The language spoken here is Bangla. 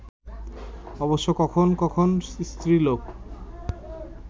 অবশ্য কখন কখন স্ত্রীলোক